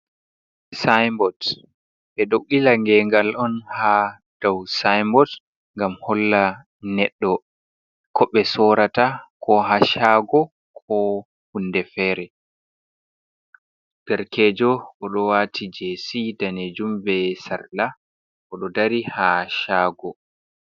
Sayinbot ɓe ɗo ɓila geengal on ha dow sayinbot ngam holla neɗɗo ko bte sorata koo haa shago koo huunde feere, derkeejo o ɗo waati jeesi daneejum bee sarla o ɗo dari ha chago.